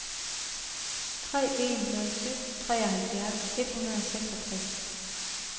tre en nul syv treoghalvfjerds et hundrede og seksogtres